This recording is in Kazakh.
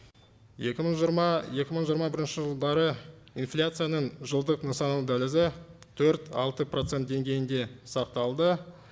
екі мың жиырма екі мың жиырма бірінші жылдары инфляцияның жылдық нысаналы дәлізі төрт алты процент деңгейінде сақталды